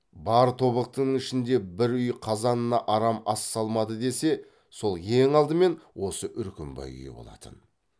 бар тобықтының ішінде бір үй қазанына арам ас салмады десе сол ең алдымен осы үркімбай үйі болатын